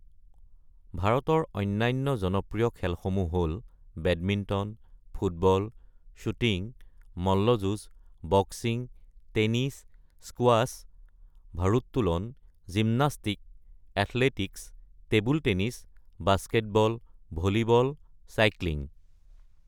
ভাৰতৰ অন্যান্য জনপ্ৰিয় খেলসমূহ হ’ল বেডমিণ্টন, ফুটবল, শ্বুটিং, মল্লযুঁজ, বক্সিং, টেনিছ, স্কোয়াছ, ভাৰোত্তোলন, gymnastic, athletics, table tennis, basketball, volleyball, cycling.